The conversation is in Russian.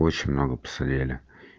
очень много посидели